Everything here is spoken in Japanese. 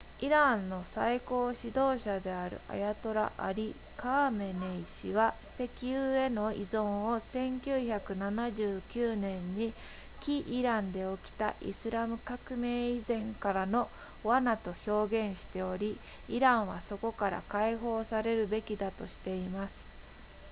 イランの最高指導者であるアヤトラアリカーメネイ氏は石油への依存を1979年に起イランで起きたイスラム革命以前からの罠と表現しておりイランはそこから解放されるべきだとしています